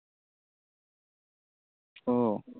ও